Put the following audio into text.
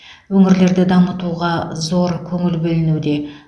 өңірлерді дамытуға зор көңіл бөлінуде